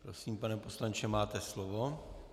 Prosím, pane poslanče, máte slovo.